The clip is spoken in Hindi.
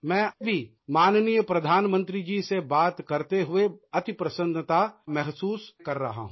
मैं भी माननीय प्रधानमंत्री जी से बात करते हुए अति प्रसन्नता महसूस कर रहा हूँ